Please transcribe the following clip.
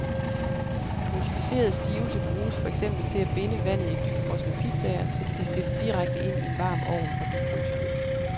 Modificeret stivelse bruges for eksempel til at binde vandet i dybfrosne pizzaer, så de kan stilles direkte ind i en varm ovn fra dybfryseren.